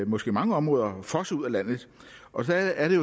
måske mange områder fosser ud af landet og der er det